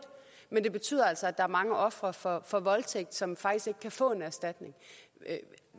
men det betyder altså at der er mange ofre for for voldtægt som faktisk ikke kan få en erstatning